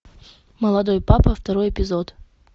молодой папа второй эпизод